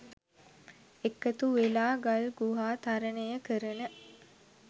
එකතු වෙලා ගල් ගුහා තරණය කරන